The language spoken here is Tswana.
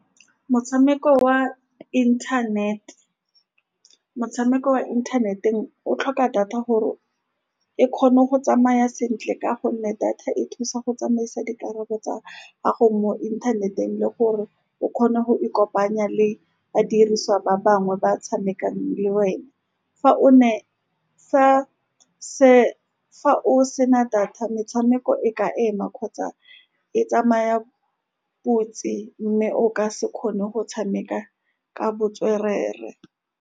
Motshameko wa internet-e, motshameko wa inthaneteng, o tlhoka data gore e kgone go tsamaya sentle, ka gonne data e thusa go tsamaisa dikarolo tsa gago mo inthaneteng le gore o kgone go ikopanya le badirisi ba bangwe ba ba tshamekang le wena fa o ne. Fa o sena data, metshameko e ka ema kgotsa e tsamaya botse, mme o ka se kgone go tshameka ka botswerere.